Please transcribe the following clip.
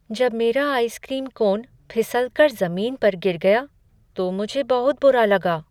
जब मेरा ice cream cone फिसल कर जमीन पर गिर गया तो मुझे बहुत बुरा लगा।